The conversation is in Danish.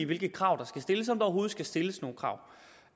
hvilke krav der skal stilles om der overhovedet skal stilles krav